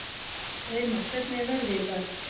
Reimar, hvernig er veðrið í dag?